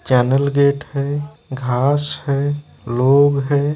Channel gate है घांस है लोग है।